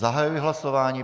Zahajuji hlasování.